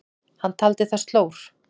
Hann taldi það slór.